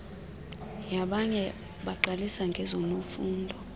yabanye baqalisa ngezofundo